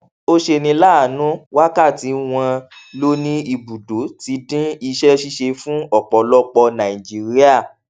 ó ṣeni láàánú wákàtí wọn lò ní ibùdó ti dín iṣẹ ṣíṣe fún ọpọlọpọ nàìjíríà